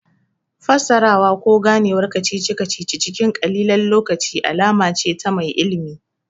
Fassarawa ko Ganewar kacici kacici cikin ƙalilan lokaci alama ce ta mai ilimi